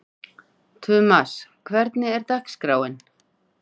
Tumas, hvernig er dagskráin?